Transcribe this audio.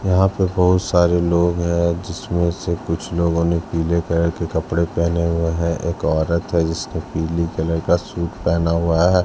यहाँ पे बहुत सारे लोग हैं जिसमे से कुछ लोगो ने पीले कलर के कपड़े पहने हुए हैं एक औरत हैं जिसने पीली कलर का सूट पहना हुआ हैं।